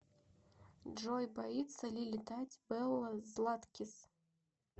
джой боится ли летать белла златкис